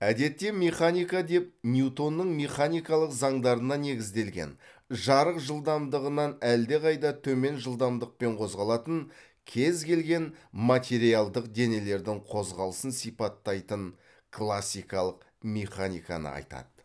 әдетте механика деп ньютонның механикалық заңдарына негізделген жарық жылдамдығынан әлдеқайда төмен жылдамдықпен қозғалатын кез келген материалдық денелердің қозғалысын сипаттайтын классикалық механиканы айтады